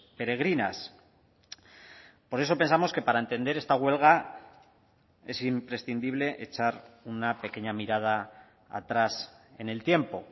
peregrinas por eso pensamos que para entender esta huelga es imprescindible echar una pequeña mirada atrás en el tiempo